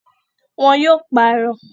Wọn yóò pààrọ̀